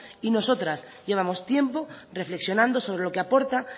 y nosotras llevamos tiempo reflexionando sobre lo que aporta